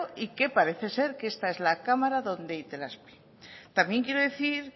y que parecer ser que esta es la cámara donde itelazpi también quiero decir